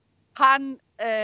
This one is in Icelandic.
hann